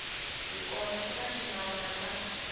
hi kona eka xinawana xa